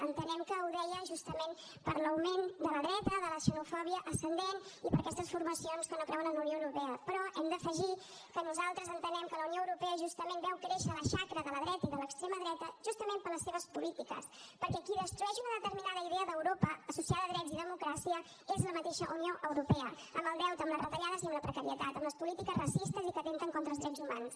entenem que ho deia justament per l’augment de la dreta de la xenofòbia ascendent i per aquestes formacions que no creuen en la unió europea però hem d’afegir que nosaltres entenem que la unió europea justament veu créixer la xacra de la dreta i de l’extrema dreta justament per les seves polítiques perquè qui destrueix una determinada idea d’europa associada a drets i democràcia és la mateixa unió europea amb el deute amb les retallades i amb la precarietat amb les polítiques racistes i que atempten contra els drets humans